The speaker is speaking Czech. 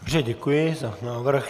Dobře, děkuji za návrh.